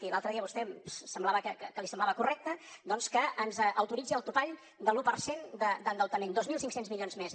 i l’altre dia vostè semblava que li semblava correcte doncs que ens autoritzi el topall de l’un per cent d’endeutament dos mil cinc cents milions més